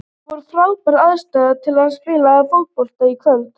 Það voru frábærar aðstæður til að spila fótbolta í kvöld.